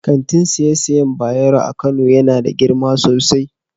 kangin siye-siyen Bayero a Kano Yana da girma sosai.